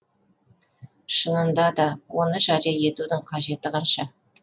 шынында да оны жария етудің қажеті қанша